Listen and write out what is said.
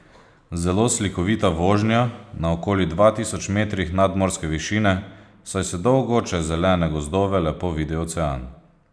Zelo slikovita vožnja na okoli dva tisoč metrih nadmorske višine, saj se dolgo čez zelene gozdove lepo vidi ocean.